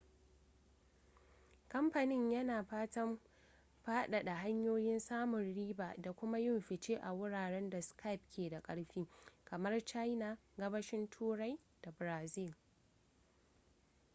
kamfanin yana fatan faɗaɗa hanyoyin samun riba da kuma yin fice a wuraren da skype ke da ƙarfi kamar china gabashin turai da brazil